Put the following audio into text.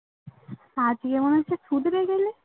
আজ ই এমন একটা ছুটিতে গেলে